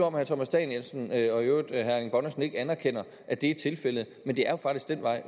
om herre thomas danielsen og i øvrigt herre erling bonnesen ikke anerkender at det er tilfældet men det er jo faktisk den vej